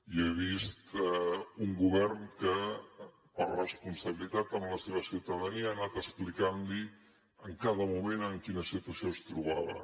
jo he vist un govern que per responsabilitat amb la seva ciutadania ha anat explicant li en cada moment en quina situació es trobava